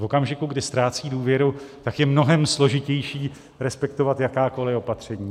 V okamžiku, kdy ztrácí důvěru, tak je mnohem složitější respektovat jakákoli opatření.